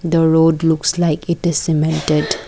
the road looks like it is cemented.